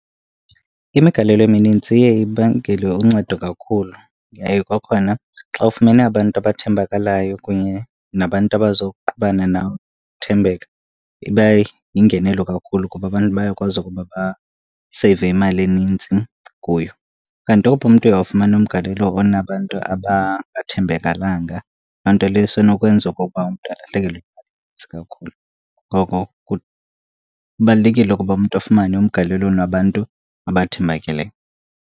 Imigalelo eminintsi iye ibangele uncedo kakhulu. Yaye kwakhona xa ufumene abantu abathembakalayo kunye nabantu abazoqhubana thembeka ibayingenelo kakhulu kuba abantu bayakwazi ukuba baseyive imali enintsi kuyo. Kanti owuphi umntu uye wafumana umgalelo onabantu abangathembekalanga, loo nto leyo isenokwenza okokuba umntu alahlekelwe yimali enintsi kakhulu. Ngoko kubalulekile ukuba umntu afumane umgalelo onabantu abathembakeleyo.